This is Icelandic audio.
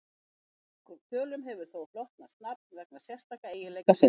Nokkrum tölum hefur þó hlotnast nafn vegna sérstakra eiginleika sinna.